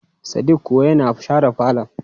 Sadik kuwa yana share falon.